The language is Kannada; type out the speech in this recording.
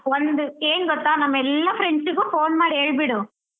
ಒಂದು ಏನ್ ಗೊತ್ತಾ ನಮ್ ಎಲ್ಲ friends ಗು phone ಮಾಡಿ ಹೇಳ್ಬಿಡು.